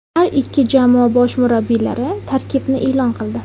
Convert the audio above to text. Har ikki jamoa bosh murabbiylari tarkibni e’lon qildi.